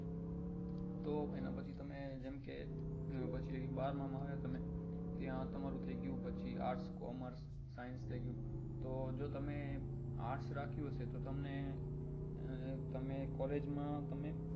તો એના પછી તમે જેમ કે પછી બારમામાં આવ્યા તમે ત્યાં તમારું થઇ ગયું પછી arts commerce science થઇ ગયું તો જો તમે arts રાખ્યું હશે તો તમને અ તમે collage તમે